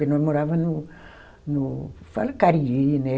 Porque nós morava no, no, fala Cariri, né?